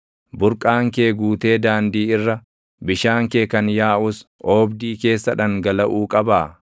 Burqaan kee guutee daandii irra, bishaan kee kan yaaʼus oobdii keessa dhangalaʼuu qabaa?